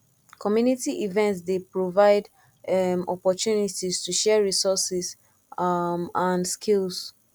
community events dey provide um opportunities to share resources um and skills